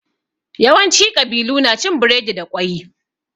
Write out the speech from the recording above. Yawanci ƙabilu na cin biredi da ƙwai.